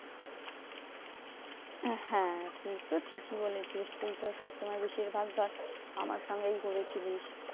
হ্যাঁ সেট ঠিকই বলেছিস। তুই তো সবসময় বেশিরভাগ ধর আমার সঙ্গেই হেরেছিলিস।